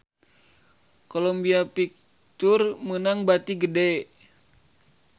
Columbia Pictures meunang bati gede